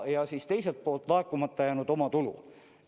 Ja teiselt poolt laekumata jäänud omatulu.